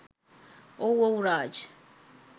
ඔව් ඔව් රාජ්